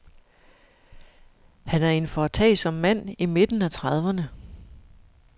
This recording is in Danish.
Han er en foretagsom mand i midten af trediverne.